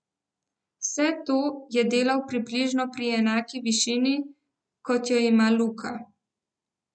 Vse to je delal približno pri enaki višini, kot jo ima Luka.